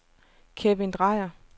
Kevin Drejer